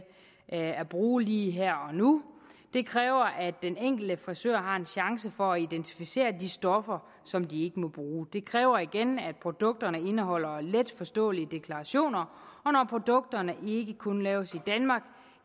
at bruge lige her og nu det kræver at den enkelte frisør har en chance for at identificere de stoffer som de ikke må bruge det kræver igen at produkterne indeholder letforståelige deklarationer og når produkterne ikke kun laves i danmark